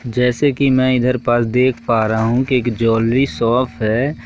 जैसे कि मैं इधर प देख पास रहा हूं कि एक ज्वेलरी शॉप है।